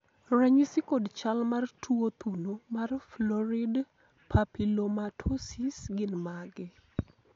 ranyisi kod chal mar tuo thuno mar Florid papillomatosis gin mage?